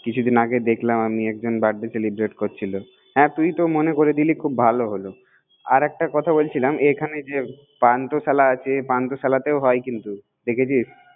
কিছুদিন আগে দেখালাম একটা জন্মদিন উদযাপন করছিল তুই তে মনে করে দিলো খুব ভালো হলো আর একটা কথা বলছিলাম এখানে পান্থশালা আছেপান্থশালায় হয় কিন্তু